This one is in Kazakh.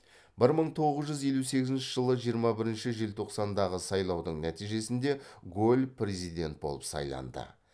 бір мың тоғыз жүз елу сегізінші жылы жиырма бірінші желтоқсандағы сайлаудың нәтижесінде голль президент болып сайланды